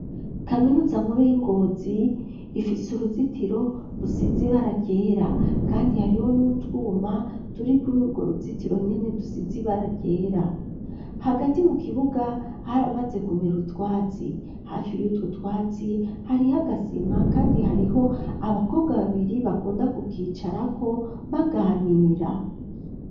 Kaminuza nkuru y'ingozi ifise uruzitiro rusizi baragera, kandi hariho n'utwuma turi kuri urwo ruzitiro nyene dusizi baragera hagati mu kibuga haramaze kumera utwatsi hafi yutwu twatsi hariho agasima, kandi hariho abakobwa babiri bakundakua ukwicarako baganira.